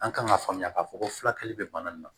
An kan ka faamuya k'a fɔ ko furakɛli bɛ bana nin na